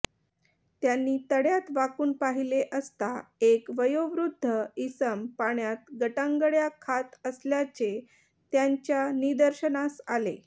त्यांनी तळयात वाकून पाहिले असता एक वयोवृद्ध इसम पाण्यात गटांगळया खात असल्याचे त्यांच्या निदर्शनास आले